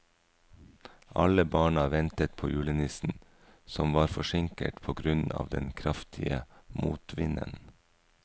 Alle barna ventet på julenissen, som var forsinket på grunn av den kraftige motvinden.